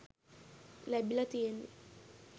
ලැබිලා තියෙන්නේ.